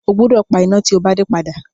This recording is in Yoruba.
O gbúdọ̀ pa iná tí o bá dé padà.